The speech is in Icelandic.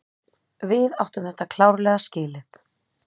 Við áttum þetta klárlega skilið.